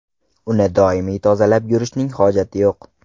Uni doimiy tozalab yurishning hojati yo‘q.